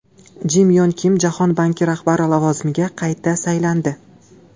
Jim Yon Kim Jahon banki rahbari lavozimiga qayta saylandi.